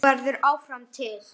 Þú verður áfram til.